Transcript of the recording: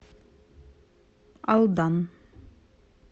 алдан